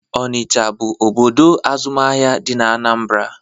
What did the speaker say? Onicha bụ obodo azụmahịa dị n'Anambra